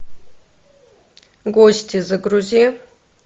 гости загрузи